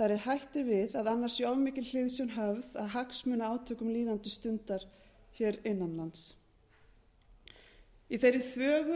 þar eð hætt er við að annars sé of mikil hliðsjón höfð af hagsmunaátökum líðandi stundar hér innan lands í þeirri þvögu